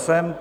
Jsem.